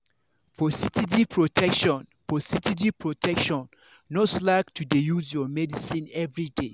for steady protection for steady protection no slack to dey use your medicine everyday.